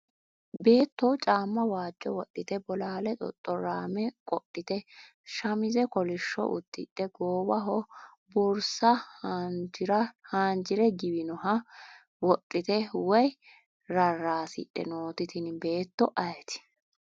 Beeto caama waajo wodhite bolaale xoxoraame qodhite samize kolisho ududhe goowaho borsa haanjire giwinoha wodhite woyi raraasidhe nooti tini beeto ayiti.